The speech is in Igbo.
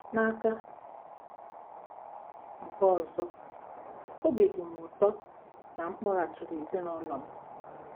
N’aka nke ọzọ, obi dị m ụtọ na m kpọghachiri ezinụlọ m.